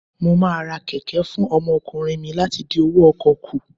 Mo máa ra kẹ̀kẹ́ fún ọmọkùnrin mi láti dín owó ọkọ̀ kù.